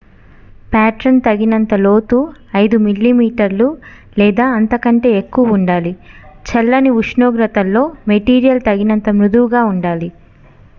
pattern తగినంత లోతు 5 మిమీ 1/5 అంగుళాలు లేదా అంతకంటే ఎక్కువ ఉండాలి చల్లని ఉష్ణోగ్రతల్లో మెటీరియల్ తగినంత మృదువుగా ఉండాలి